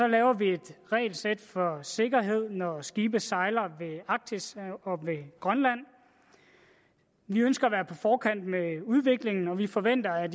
laver vi et regelsæt for sikkerhed når skibe sejler ved arktis og ved grønland vi ønsker at være på forkant med udviklingen og vi forventer at